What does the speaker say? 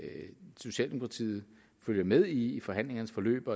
socialdemokratiet følger med i i forhandlingernes forløb